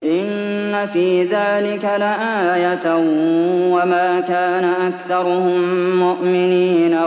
إِنَّ فِي ذَٰلِكَ لَآيَةً ۖ وَمَا كَانَ أَكْثَرُهُم مُّؤْمِنِينَ